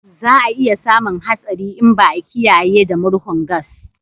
Za a iya samun hatsari in ba a kiyaye da murhun gas